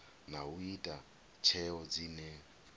na u ita tsheo dzine